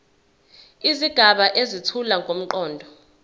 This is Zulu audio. izigaba ezethula ngomqondo